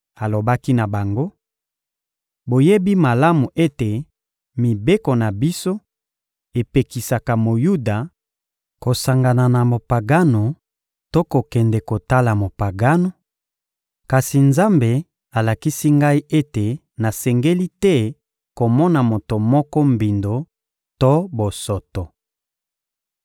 Alobaki na bango: — Boyebi malamu ete mibeko na biso epekisa Moyuda kosangana na Mopagano to kokende kotala Mopagano; kasi Nzambe alakisi ngai ete nasengeli te komona moto moko mbindo to bosoto.